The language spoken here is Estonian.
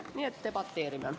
Nii et debateerime.